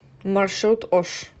маршрут ош